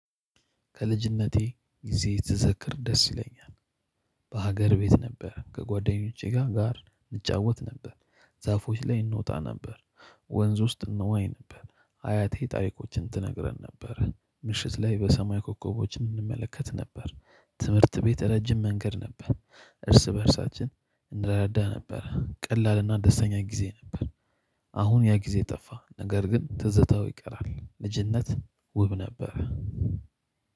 ከልጅነቴ ጊዜ ትዘክር ደስ ይለኛል በሀገር ቤት ነበር ከጓደኞቼ ጋ ጋር እንጫወት ነበር ዛፎች ላይ እንወጣ ነበር ወንዝ ውስጥ እንዋኝ ነበር አያቴ ታሪኮችን ትነግረን ነበር ምሽት ላይ በሰማይ ኮከቦች እንመለከት ነበር ትምህርት ቤት ረጅም መንገድ ነበር። እርስ በእርሳችን እንረዳዳ ነበር ቀላልና ደስተኛ ጊዜ ነበር አሁን ያ ጊዜ ጠፋ፤ ነገር ግን ትዝታው ይቀራል ልጅነት ውብ ነበረ።